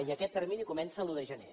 i aquest termini comença l’un de gener